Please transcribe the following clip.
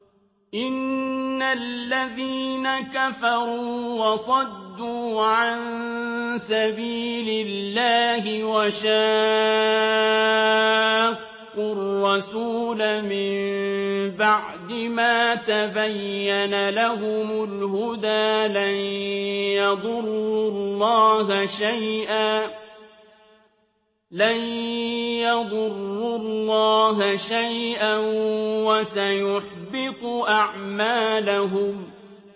إِنَّ الَّذِينَ كَفَرُوا وَصَدُّوا عَن سَبِيلِ اللَّهِ وَشَاقُّوا الرَّسُولَ مِن بَعْدِ مَا تَبَيَّنَ لَهُمُ الْهُدَىٰ لَن يَضُرُّوا اللَّهَ شَيْئًا وَسَيُحْبِطُ أَعْمَالَهُمْ